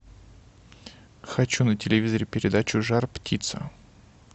хочу на телевизоре передачу жар птица